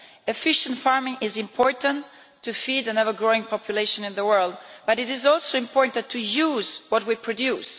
Efficient farming is important to feed an ever-growing population in the world, but it is also important to use what we produce.